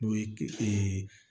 N'o ye